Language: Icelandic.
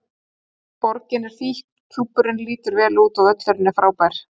Borgin er fín, klúbburinn lítur vel út og völlurinn er frábær.